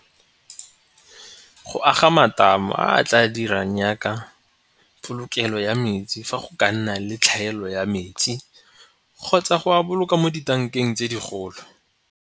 Go aga matamo a tla dirang yaka polokelo ya metsi fa go ka nna le tlhaelo ya metsi kgotsa go a boloka mo dibankeng tse digolo.